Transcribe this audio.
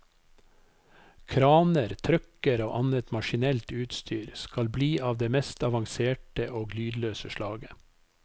Kraner, trucker og annet maskinelt utstyr skal bli av det mest avanserte og lydløse slaget.